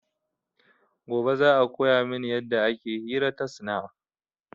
Gobe za a koya min yadda ake hira ta snap